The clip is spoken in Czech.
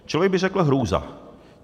Člověk by řekl hrůza.